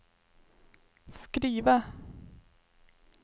skriva